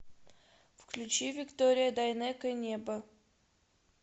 включи виктория дайнеко небо